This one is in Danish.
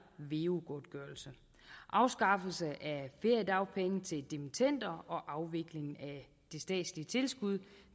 veu godtgørelse afskaffelse af feriedagpenge til dimittender og afvikling af det statslige tilskud